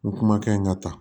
N kumakan in ka taa